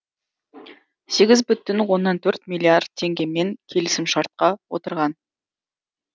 сегіз бүтін оннан төрт миллиард теңгемен келісімшартқа отырған